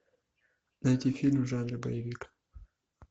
найти фильм в жанре боевик